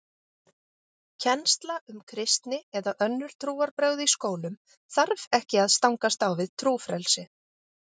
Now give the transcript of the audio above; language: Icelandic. Kennsla um kristni eða önnur trúarbrögð í skólum þarf ekki að stangast á við trúfrelsi.